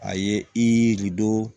A ye i don